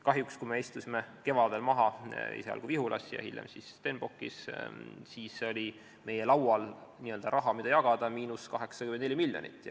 Kahjuks, kui me istusime kevadel laua taha esialgu Vihulas ja hiljem Stenbockis, siis oli meie laual seda raha, mida jagada, –84 miljonit.